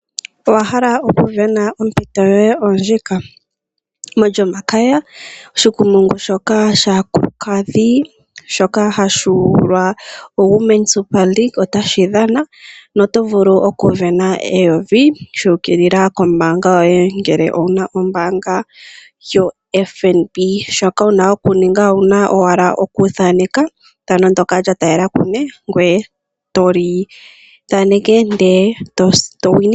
Owa hala okusindana? Ompito yoye oyo ndjika. MolyOmakaya ethigathano ndyoka lyaakulukadhi ndyoka hali ithanwa Women Super Leaque otali dhana noto vulu okusindana N$ 1000 lyu ukilila komayalulo goye gombaanga ngele owu na ombaanga yoFNb. Shoka wu na okuninga, okuthanenka ethano ndyoka lya taalela kungoye, to li thaneke ndele to sindana.